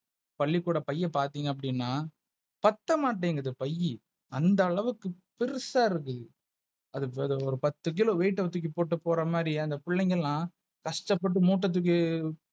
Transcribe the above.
பள்ளிக்கூட பையன் பாத்தீங்க அப்டினா பத்தமாட்டீங்குது பைய் அந்த அளவுக்கு பெரிசா இருக்கு அது ஒரு பாத்து கிலோ Weight தூக்கிப்போட்டு போற மாரி அந்த பிள்ளைங்க எல்ல கஷ்டப்பட்டு மூட்ட துக்கி,